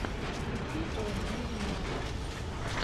включи о моя венера